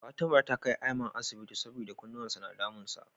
Fatima ta kai Aiman asibiti saboda kunnuwan sa na damun sa.